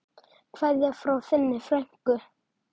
Kveðja frá þinni frænku.